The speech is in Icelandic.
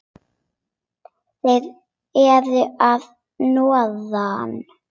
Þeir eru að norðan.